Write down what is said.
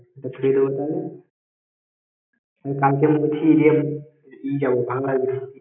ওটা থুয়ে দোবো তাহলে কালকে মনে করছি যে ই যাবো ভাংলা